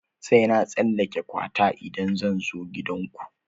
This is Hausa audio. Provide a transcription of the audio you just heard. Sai na tsallake kwata idan zan zo gidan ku?